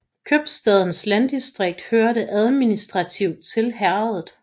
Købstadens landdistrikt hørte administrativt til herredet